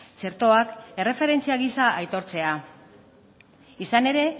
txertoak erreferentzia giza aitortzea izan ere